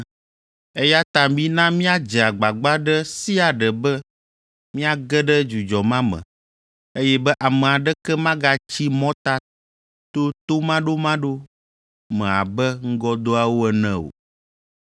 Eya ta mina míadze agbagba ɖe sia ɖe be míage ɖe dzudzɔ ma me, eye be ame aɖeke magatsi mɔta to tomaɖomaɖo me abe ŋgɔdoawo ene o.